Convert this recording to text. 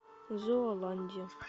зооландия